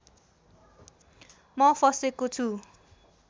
म फसेको छु